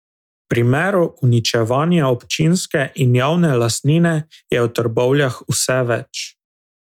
Primerov uničevanja občinske in javne lastnine je v Trbovljah vse več.